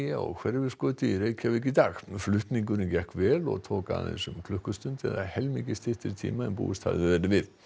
á Hverfisgötu í Reykjavík í dag f lutningurinn gekk vel og tók aðeins um klukkustund eða helmingi styttri tíma en búist hafði verið við